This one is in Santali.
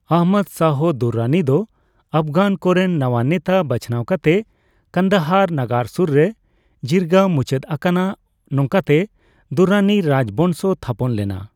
ᱟᱦᱢᱚᱫ ᱥᱟᱦᱚ ᱫᱩᱨᱨᱟᱱᱤ ᱫᱚ ᱟᱯᱷᱜᱟᱱ ᱠᱚᱨᱮᱱ ᱱᱟᱣᱟ ᱱᱮᱛᱟ ᱵᱟᱪᱷᱱᱟᱣ ᱠᱟᱛᱮ ᱠᱟᱱᱫᱟᱦᱟᱨ ᱱᱟᱜᱟᱨ ᱥᱩᱨ ᱨᱮ ᱡᱤᱨᱜᱟ ᱢᱩᱪᱟᱹᱫ ᱟᱠᱟᱱᱟ, ᱱᱚᱝᱠᱟᱛᱮ ᱫᱩᱨᱨᱟᱱᱤ ᱨᱟᱡᱽᱵᱚᱝᱥᱚ ᱛᱷᱟᱯᱚᱱ ᱞᱮᱱᱟ ᱾